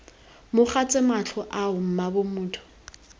mogatse matlho ao mmaabo motho